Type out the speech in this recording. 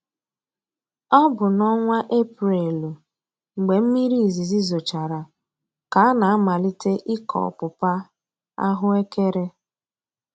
Ọ bụ n'ọnwa Eprelụ mgbe mmiri izizi zochara ka a na-amalite ịkọ ọpụpa/ahụekere.